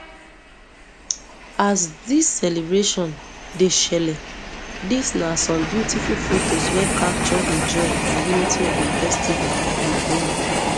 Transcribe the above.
as dis celebration dey shele dis na some beautiful fotos wey capture di joy and unity di festival dey bring